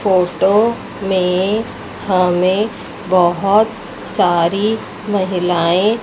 photo में हमें बहोत सारी महिलाएं--